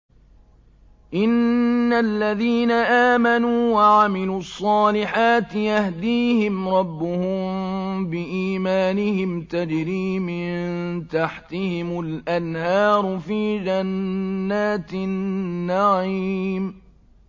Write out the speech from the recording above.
إِنَّ الَّذِينَ آمَنُوا وَعَمِلُوا الصَّالِحَاتِ يَهْدِيهِمْ رَبُّهُم بِإِيمَانِهِمْ ۖ تَجْرِي مِن تَحْتِهِمُ الْأَنْهَارُ فِي جَنَّاتِ النَّعِيمِ